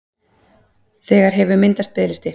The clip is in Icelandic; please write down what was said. Þegar hefur myndast biðlisti